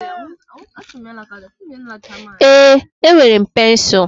Ee, enwere m pensụl.